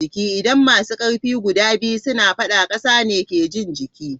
Idan masu karfi guda biyu suna fadda, kasa ne ke jin jiki.